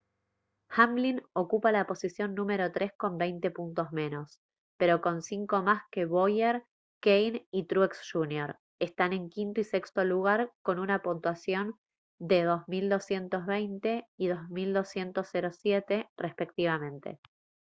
hamlin ocupa la posición número tres con veinte puntos menos pero con cinco más que bowyer kahne y truex jr están en quinto y sexto lugar con una puntuación de 2220 y 2207 respectivamente